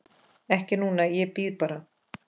Ekki núna, ég bíð bara.